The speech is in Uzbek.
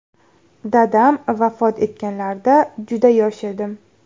Dadam vafot etganlarida juda yosh edim.